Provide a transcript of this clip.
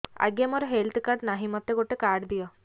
ଆଜ୍ଞା ମୋର health card ନାହିଁ ମୋତେ ଗୋଟେ କାର୍ଡ ଦିଅ